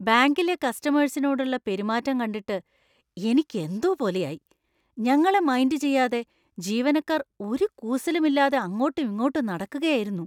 ബാങ്കിലെ കസ്റ്റമേഴ്‌സിനോടുള്ള പെരുമാറ്റം കണ്ടിട്ട് എനിക്ക് എന്തോ പോലെ ആയി. ഞങ്ങളെ മൈൻഡ് ചെയ്യാതെ ജീവനക്കാർ ഒരു കൂസലും ഇല്ലാതെ അങ്ങോട്ടും ഇങ്ങോട്ടും നടക്കുകയായിരുന്നു.